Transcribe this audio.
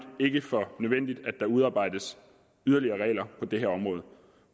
ikke for nødvendigt at der udarbejdes yderligere regler på det her område